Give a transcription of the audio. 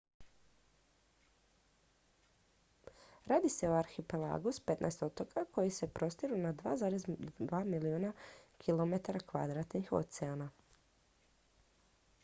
radi se o arhipelagu s 15 otoka koji se prostiru na 2,2 milijuna km2 oceana